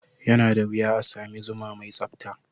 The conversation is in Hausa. Yana da wuya a sami zuma mai tsabta.